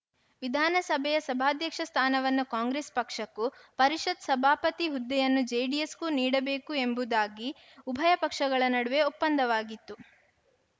ವಿಧಾನಸಭೆಯ ಸಭಾಧ್ಯಕ್ಷ ಸ್ಥಾನವನ್ನು ಕಾಂಗ್ರೆಸ್‌ ಪಕ್ಷಕ್ಕೂ ಪರಿಷತ್‌ ಸಭಾಪತಿ ಹುದ್ದೆಯನ್ನು ಜೆಡಿಎಸ್‌ಗೂ ನೀಡಬೇಕು ಎಂಬುದಾಗಿ ಉಭಯ ಪಕ್ಷಗಳ ನಡುವೆ ಒಪ್ಪಂದವಾಗಿತ್ತು